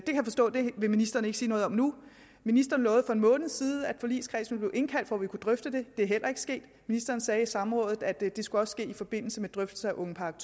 ministeren ikke vil sige noget om nu ministeren lovede for en måned siden at forligskredsen ville indkaldt for at vi kunne drøfte det det er heller ikke sket ministeren sagde i samrådet at det også skulle ske i forbindelse med drøftelse af ungepakke